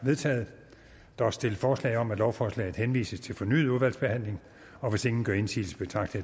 vedtaget der er stillet forslag om at lovforslaget henvises til fornyet udvalgsbehandling og hvis ingen gør indsigelse betragter